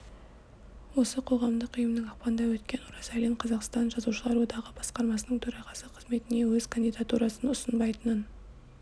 осы қоғамдық ұйымның ақпанда өткен оразалин қазақстан жазушылар одағы басқармасының төрағасы қызметіне өз кандидатурасын ұсынбайтынын